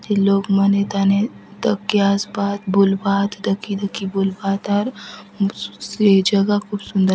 ये लोग मन एथाने दखके आसबाय आत बुलबाआत दखि - दखि बुलबाय आत आउर ये जगह खूब सुंदर --